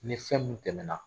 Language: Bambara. Ni fɛn mUun tɛmɛna